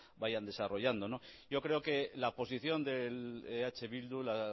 vayan desarrollando yo creo que la posición de eh bildu la